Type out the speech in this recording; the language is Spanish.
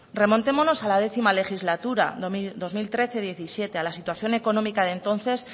remontémonos a la décimo legislatura dos mil trece dos mil diecisiete a la situación económica de entonces